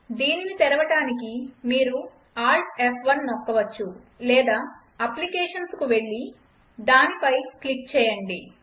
దీనిని తెరవడానికి మీరు AltF1 నొక్కవచ్చు లేదా అప్లికేషన్స్కు వెళ్లి దానిపై క్లిక్ చేయండి